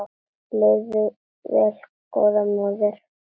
Lifðu vel góða móðir.